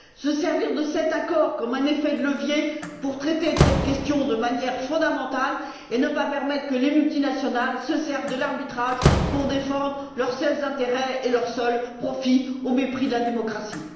Ils doivent se servir de cet accord comme d'un levier pour traiter de cette question de manière fondamentale et ne pas permettre que les multinationales se servent de l'arbitrage pour défendre leurs seuls intérêts et leur seul profit au mépris de la démocratie.